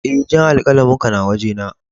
Eh, jan alkalamin ka na waje na.